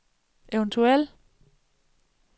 eventuel